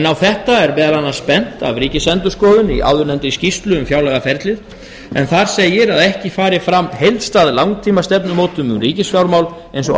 á þetta er að bent af ríkisendurskoðun í áðurnefndri skýrslu um fjárlagaferlið en þar segir að ekki fari fram heildstæð langtímastefnumótun um ríkisfjármál eins og